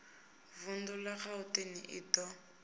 vundu la gauteng i do